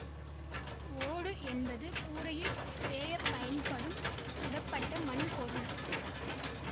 ஓடு என்பது கூரையில் வேயப் பயன்படும் சுடப்பட்ட மண் பொருள்